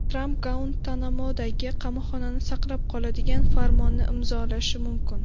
Tramp Guantanamodagi qamoqxonani saqlab qoladigan farmonni imzolashi mumkin.